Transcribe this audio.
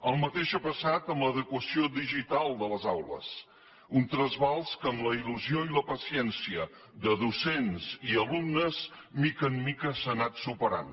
el mateix ha passat amb l’adequació digital de les aules un trasbals que amb la il·lusió i la paciència de docents i alumnes de mica en mica s’ha anat superant